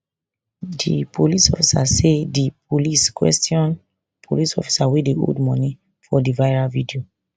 di police say di police police officer wey dey hold money for di viral video